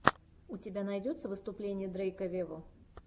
у тебя найдется выступление дрейка вево